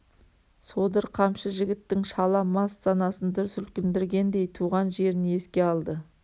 содыр қамшы жігіттің шала мас санасын дүр сілкіндіргендей туған жерін еске алды